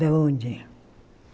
De onde?